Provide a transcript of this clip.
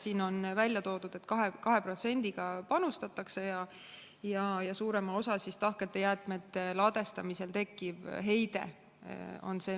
Siin on välja toodud, et panustatakse 2%-ga ja eelkõige suurendab heitmete kogust tahkete jäätmete ladestamisel tekkiv heide.